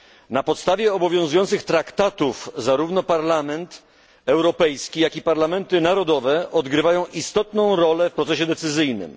Na podstawie obowiązujących traktatów zarówno Parlament Europejski, jak i parlamenty narodowe odgrywają istotną rolę w procesie decyzyjnym.